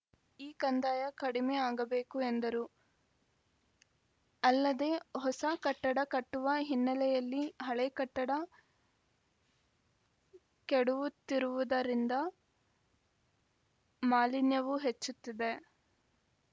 ಈ ಕಂದಾಯ ಕಡಿಮೆ ಆಗಬೇಕು ಎಂದರು ಅಲ್ಲದೇ ಹೊಸ ಕಟ್ಟಡ ಕಟ್ಟುವ ಹಿನ್ನೆಲೆಯಲ್ಲಿ ಹಳೆ ಕಟ್ಟಡ ಕೆಡವುತ್ತಿರುವುದರಿಂದ ಮಾಲಿನ್ಯವೂ ಹೆಚ್ಚುತ್ತಿದೆ